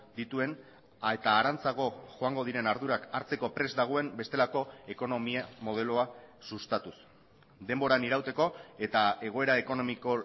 dituen eta harantzago joango diren ardurak hartzeko prest dagoen bestelako ekonomia modeloa sustatuz denboran irauteko eta egoera ekonomiko